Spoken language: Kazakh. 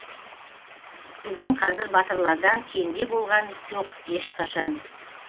біздің қазір батырлардан кенде болған жоқ ешқашан